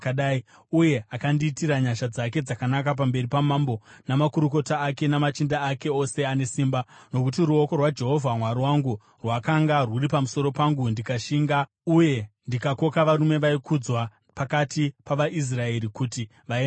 uye akandiitira nyasha dzake dzakanaka pamberi pamambo namakurukota ake namachinda ake ose ane simba. Nokuti ruoko rwaJehovha Mwari wangu rwakanga rwuri pamusoro pangu, ndikashinga uye ndikakoka varume vaikudzwa pakati pavaIsraeri kuti vaende neni.